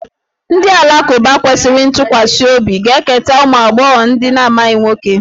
Ndị Alakụba kwesịrị ntụkwasị obi ga-eketa ụmụ agbọghọ na-amaghị nwoke